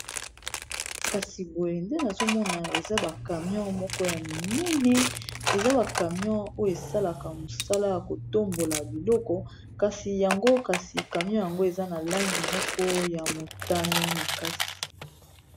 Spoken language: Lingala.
kasi boye nde nazomona eza ba camion moko ya minene eza bacamion oyo esalaka mosala ya kotambola biloko kasi yango kasi camion yango eza na langi moko ya motane makasi